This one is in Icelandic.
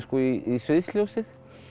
í sviðsljósið